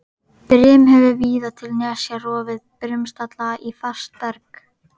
Brim hefur víða til nesja rofið brimstalla í fast berg.